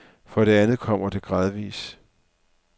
For det andet kommer det gradvis.